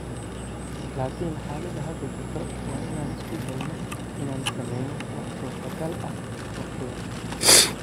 Laakin xaalada hadda jirta waa inaan isku daynaa inaan sameyno waxa suurta gal ah waqtigan.